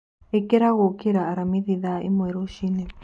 Ikĩra gũũkĩra aramĩthĩ thaa ĩmwe rũcĩĩnĩ